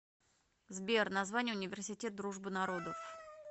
сбер название университет дружбы народов